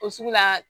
O sugu la